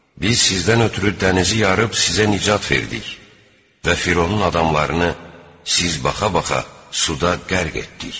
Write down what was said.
Biz sizdən ötrü dənizi yarıb sizə nicat verdik və Fironun adamlarını siz baxa-baxa suda qərq etdik.